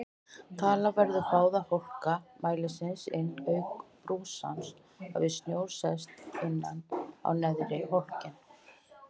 Taka verður báða hólka mælisins inn auk brúsans hafi snjór sest innan á neðri hólkinn.